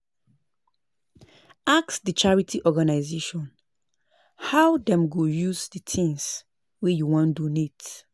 Ask di charity organisation how dem go use di things wey you wan donate